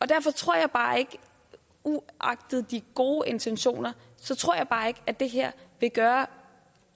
derfor tror jeg bare ikke uagtet de gode intentioner at det her vil gøre